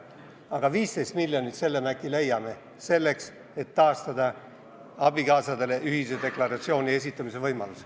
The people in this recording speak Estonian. Aga 15 miljonit me äkki leiame, et taastada abikaasadele ühise deklaratsiooni esitamise võimalus.